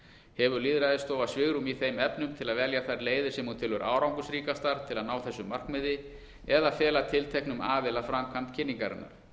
hefur lýðræðisstofa svigrúm í þeim efnum til að velja þær leiðir sem hún telur árangursríkastar til að ná þessu markmiði eða fela tilteknum aðila framkvæmd kynningarinnar